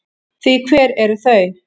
Því hver eru þau?